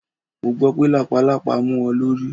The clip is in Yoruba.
Mo gbọ́ pé lápàlàpá mú ọ lórí.